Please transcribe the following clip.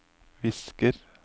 visker